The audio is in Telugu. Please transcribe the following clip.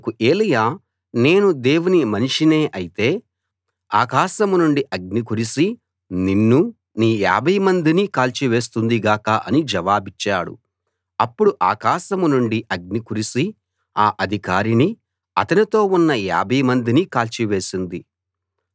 అందుకు ఏలీయా నేను దేవుని మనిషినే అయితే ఆకాశం నుండి అగ్ని కురిసి నిన్నూ నీ యాభై మందినీ కాల్చి వేస్తుంది గాక అని జవాబిచ్చాడు అప్పుడు ఆకాశం నుండి అగ్ని కురిసి ఆ అధికారినీ అతనితో ఉన్న యాభై మందినీ కాల్చి వేసింది